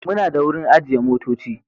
Muna da wurin ajiye motoci.